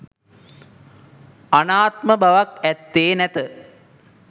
අනාත්ම බවක් ඇත්තේ නැත.